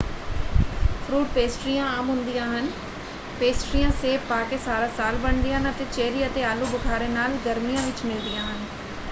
Fruit ਪੇਸਟਰੀਆਂ ਆਮ ਹੁੰਦੀਆਂ ਹਨ ਪੇਸਟਰੀਆਂ ਸੇਬ ਪਾ ਕੇ ਸਾਰਾ ਸਾਲ ਬਣਦੀਆਂ ਹਨ ਅਤੇ ਚੈਰੀ ਅਤੇ ਆਲੂ-ਬੁਖ਼ਾਰੇ ਨਾਲ ਗਰਮੀਆਂ ਵਿੱਚ ਮਿਲਦੀਆਂ ਹਨ।